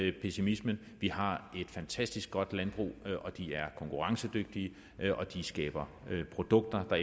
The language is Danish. ikke pessimismen vi har et fantastisk godt landbrug det er konkurrencedygtigt og det skaber produkter der